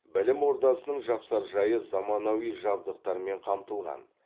білім ордасының жапсаржайы заманауи жабдықтармен қамтылған